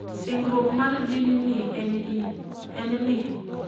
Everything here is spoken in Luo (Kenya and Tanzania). Singruok mar din ni en ni.